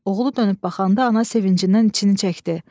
Oğlu dönüb baxanda ana sevincindən için çəkdi.